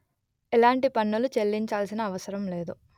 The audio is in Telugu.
ఎలాంటి పన్నులు చెల్లించాల్సిన అవసరం లేదు